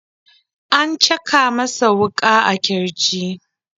An caka masa wuka a kirji.